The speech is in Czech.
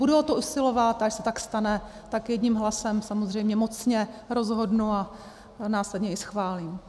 Budu o to usilovat, a až se tak stane, tak jedním hlasem samozřejmě mocně rozhodnu a následně i schválím.